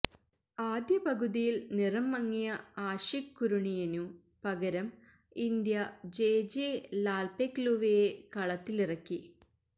ആദ്യപകുതിയില് നിറം മങ്ങിയ ആഷിഖ് കുരുണിയനു പകരം ഇന്ത്യ ജെജെ ലാല്പെഖ്ലുവയെ കളത്തിലിറക്കി